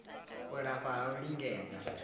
u lafha ha u lingedza